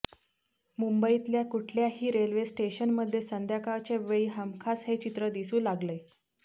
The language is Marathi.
मुंबईतल्या कुठल्याही रेल्वेस्टेशनमध्ये संध्याकाळच्या वेळी हमखास हे चित्र दिसू लागलंय